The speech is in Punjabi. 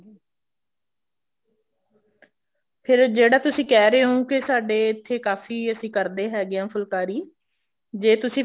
ਫੇਰ ਜਿਹੜਾ ਤੁਸੀਂ ਕਹਿ ਰਹੇ ਹੋ ਕਿ ਸਾਡੇ ਇੱਥੇ ਕਾਫ਼ੀ ਅਸੀਂ ਕਰਦੇ ਹੈਗੇ ਹਾਂ ਫੁਲਕਾਰੀ ਜੇ ਤੁਸੀਂ